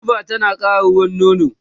hulba tana ƙara ruwan nono